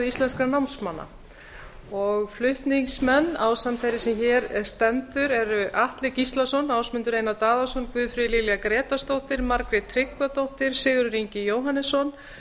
íslenskra námsmanna flutningsmenn ásamt þeirri sem hér stendur eru atli gíslason ásmundur einar daðason guðfríður lilja grétarsdóttir margrét tryggvadóttir sigurður ingi jóhannsson